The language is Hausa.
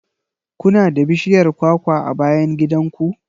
Ku na da bishiyar kwakwa a bayan gidan ku?